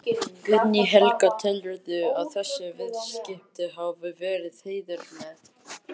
Guðný Helga: Telurðu að þessi viðskipti hafi verið heiðarleg?